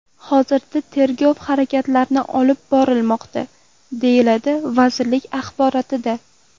Hozirda tergov harakatlari olib borilmoqda”, deyiladi vazirlik axborotida.